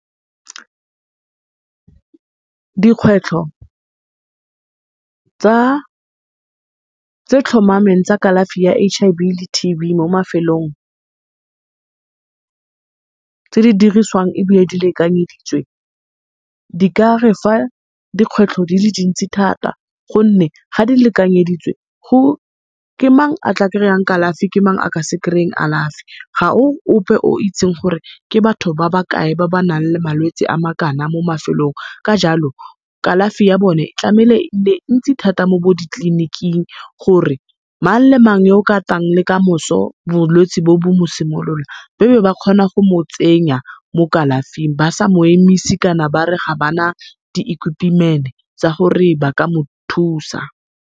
Dikgwetlho tse tlhomameng tsa kalafi ya H_I_V le T_B mo mafelong, tse di diriswang ebile di lekanyeditswe, di ka re fa dikgwetlho di le dintsi thata, gonne ga di lekanyeditswe ke mang a tla kry-ang kalafi ke mang a ka se kry-eng kalafi. Ga o ope o itseng gore ke batho ba ba kae ba ba nang le malwetse a makana mo mafelong ka jalo, kalafi ya bone tlameile e nne ntsi mo bo ditleliniking gore mang le mang yo o ka tlang le kamoso bolwetse bo, bo mosimoloa be be bakgona go motsenya mo kalafing ba sa mo emisi kana bare ga bana di tsa gore ba ka mothusa.